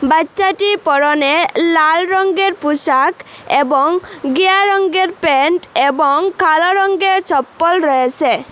বাচ্চাটি পরনে লাল রংগের পোশাক এবং গিয়া রংগের প্যান্ট এবং কালো রংগের চপ্পল রয়েছে।